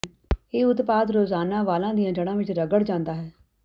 ਇਹ ਉਤਪਾਦ ਰੋਜ਼ਾਨਾ ਵਾਲਾਂ ਦੀਆਂ ਜੜਾਂ ਵਿੱਚ ਰਗੜ ਜਾਂਦਾ ਹੈ